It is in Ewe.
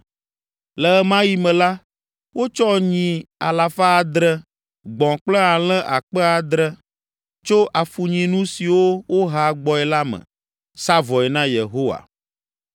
Le ɣe ma ɣi me la, wotsɔ nyi alafa adre (700), gbɔ̃ kple alẽ akpe adre (7,000) tso afunyinu siwo woha gbɔe la me, sa vɔe na Yehowa.